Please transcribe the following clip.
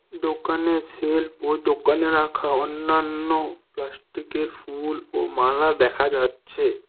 দোকানের সেলফ ও দোকানে রাখা অন্যান্য প্লাস্টিকের ফুল ও মালা দেখা যাচ্ছে।